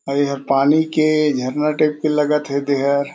अउ ये हर पानी के झरना टाइप के लगथ हे दे हर--